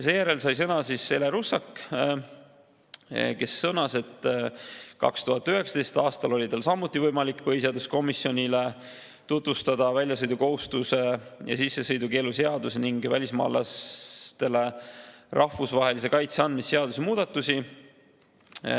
Seejärel sai sõna Ele Russak, kes sõnas, et 2019. aastal oli tal samuti võimalik põhiseaduskomisjonile tutvustada väljasõidukohustuse ja sissesõidukeelu seaduse ning välismaalasele rahvusvahelise kaitse andmise seaduse muudatusi.